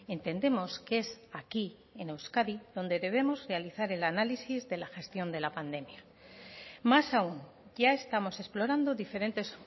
entendemos que es aquí en euskadi donde debemos realizar el análisis de la gestión de la pandemia más aún ya estamos explorando diferentes